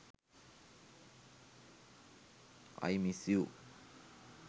i miss you